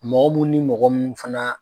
Mɔgɔ mun ni mɔgɔ munnu fana